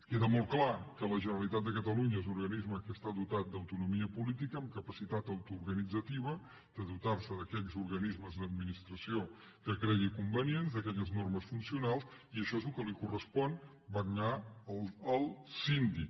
queda molt clar que la generalitat de catalunya és un organisme que està dotat d’autonomia política amb capacitat autoorganitzativa de dotarse d’aquells organismes d’administració que cregui convenients d’aquelles normes funcionals i això és el que li correspon vetllar al síndic